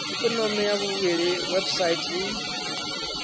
ikonomi ya vhuvhili website i